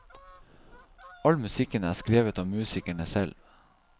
All musikken er skrevet av musikerne selv.